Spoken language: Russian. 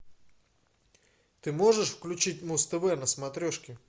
ты можешь включить муз тв на смотрешке